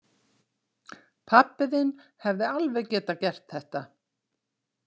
Pabbi þinn hefði alveg getað gert þetta.